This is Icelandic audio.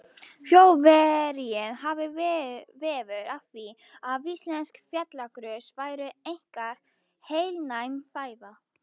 Þjóðverjinn hafði veður af því, að íslensk fjallagrös væru einkar heilnæm fæða.